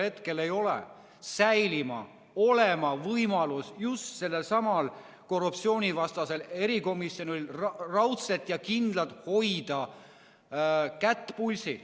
Sellepärast peab just sellelsamal korruptsioonivastasel erikomisjonil, ükskõik milline valitsus parasjagu on, säilima võimalus raudselt ja kindlalt hoida kätt pulsil.